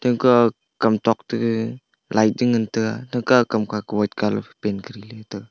aga kamtok tege light tengan taiga taka kam kako white colour phai paint koriley taiga.